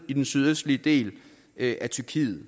i den sydøstlige del af tyrkiet